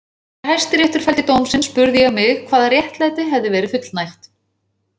Þegar Hæstiréttur felldi dóm sinn spurði ég mig hvaða réttlæti hefði verið fullnægt.